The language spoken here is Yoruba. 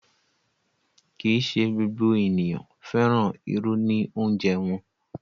Kí í ṣé gbogbo ènìyàn fẹ́ràn irù ní òunjẹ̀ wọn.